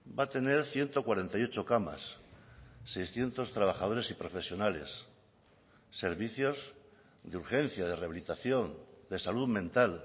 va a tener ciento cuarenta y ocho camas seiscientos trabajadores y profesionales servicios de urgencia de rehabilitación de salud mental